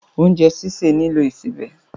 Oúnjẹ́ sìsè nílò ìsebẹ̀.